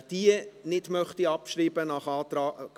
Wer diese gemäss BaK-Antrag nicht abschreiben möchte, stimmt Ja,